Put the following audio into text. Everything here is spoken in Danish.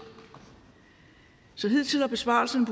så hidtil har besparelserne